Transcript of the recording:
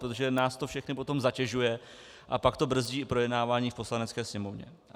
Protože nás to všechny potom zatěžuje a pak to brzdí i projednávání v Poslanecké sněmovně.